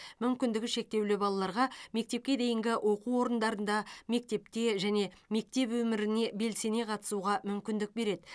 мүмкіндігі шектеулі балаларға мектепке дейінгі оқу орындарында мектепте және мектеп өміріне белсене қатысуға мүмкіндік береді